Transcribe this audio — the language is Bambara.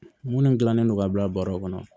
Minnu dilannen don ka bila bɔrɔ kɔnɔ